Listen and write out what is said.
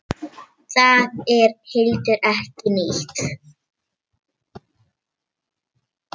Það er heldur ekki nýtt.